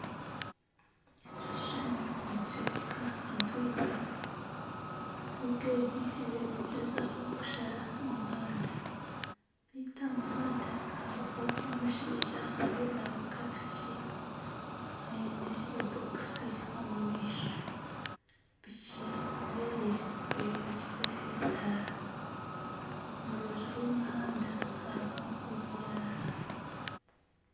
Ekishushani nikyoreka entwinga, entwinga egi eriyo negyezaho kushara omuhanda beitu aha muhanda hariho omushaija ariyo navuga piki aine ebokisi omumaisho. Piki yeeye eyakiire etaara omu rubaju rw'omuhanda hariho obunyaatsi.